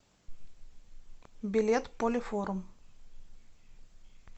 билет полифорум